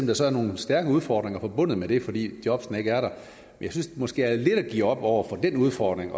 der så er nogle stærke udfordringer forbundet med det fordi jobbene ikke er der jeg synes måske det er lidt at give op over for den udfordring